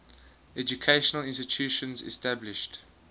educational institutions established